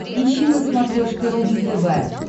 ищи на смотрешке рубль тв